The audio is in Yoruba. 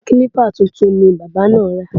Kílípà tuntun ni bábà náà ra